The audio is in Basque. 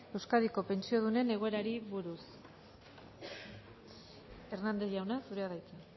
euskadiko pentsiodunen egoerari buruz hernández jauna zurea da hitza